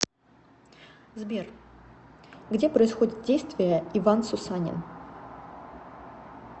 сбер где происходит действие иван сусанин